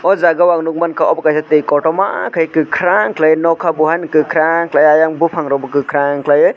jaaga o nugmanka obo kaisa twi kotorma ke kakrang kai noka o hai kakrang aiang bufang rok bw kakrang kalie.